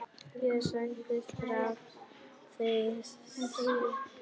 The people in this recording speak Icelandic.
Ég segi frá því seinna.